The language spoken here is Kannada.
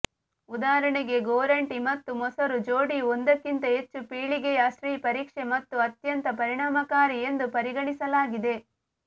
ಉದಾಹರಣೆಗೆ ಗೋರಂಟಿ ಮತ್ತು ಮೊಸರು ಜೋಡಿಯು ಒಂದಕ್ಕಿಂತ ಹೆಚ್ಚು ಪೀಳಿಗೆಯ ಸ್ತ್ರೀ ಪರೀಕ್ಷೆ ಮತ್ತು ಅತ್ಯಂತ ಪರಿಣಾಮಕಾರಿ ಎಂದು ಪರಿಗಣಿಸಲಾಗಿದೆ